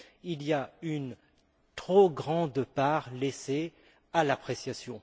Il y a une trop grande part laissée à l'appréciation.